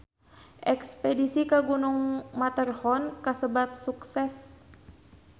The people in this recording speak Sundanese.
Espedisi ka Gunung Matterhorn kasebat sukses